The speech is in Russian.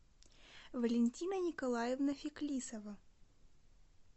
валентина николаевна феклисова